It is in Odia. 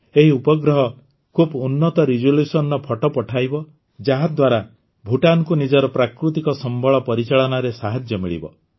ଏହି ଉପଗ୍ରହ ଖୁବ ଉନ୍ନତ ରିଜଲ୍ୟୁସନ୍ର ଫଟୋ ପଠାଇବ ଯାହାଦ୍ୱାରା ଭୁଟାନକୁ ନିଜର ପ୍ରାକୃତିକ ସମ୍ବଳ ପରିଚାଳନାରେ ସାହାଯ୍ୟ ମିଳିବ